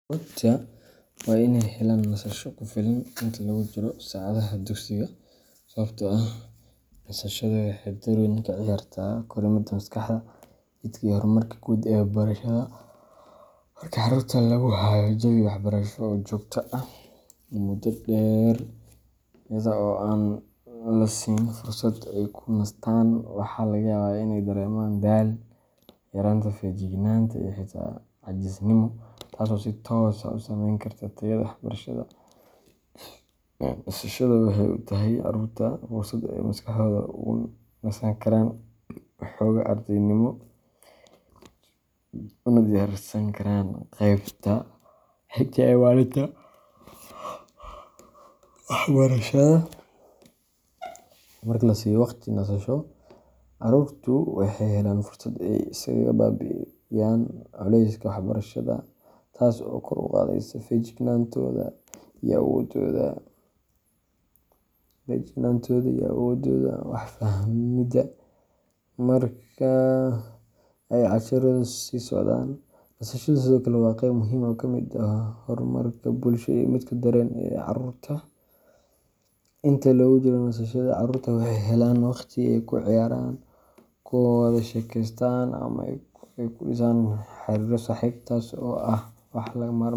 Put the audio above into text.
Carruurtu waa in ay helaan nasasho kugu filan inta lagu jiro saacadaha dugsiga sababtoo ah nasashadu waxay door weyn ka ciyaartaa korriimada maskaxda, jidhka, iyo horumarka guud ee barashada. Markii carruurta lagu hayo jawi waxbarasho oo joogto ah muddo dheer iyada oo aan la siinin fursad ay ku nastaan, waxaa laga yaabaa inay dareemaan daal, yaraanta feejignaanta, iyo xitaa caajisnimo, taas oo si toos ah u saameyn karta tayada waxbarashadooda. Nasashada waxay u tahay caruurta fursad ay maskaxdooda uga nasan karaan xoogga ardaynimo, una diyaarsan karaan qaybta xigta ee maalinta waxbarashada. Marka la siiyo waqti nasasho, carruurtu waxay helaan fursad ay iskaga baabi’iyaan culayska waxbarashada, taas oo kor u qaadaysa feejignaantooda iyo awoodooda wax fahmidda marka ay casharradu sii socdaan. Nasashadu sidoo kale waa qayb muhiim ah oo ka mid ah horumarka bulsho iyo midka dareenka ee carruurta. Inta lagu jiro nasashada, carruurtu waxay helaan waqti ay ku ciyaaraan, ku wada sheekaystaan ama ay ku dhisaan xiriirro saaxiibtinimo, taas oo ah wax lagama maarmaan.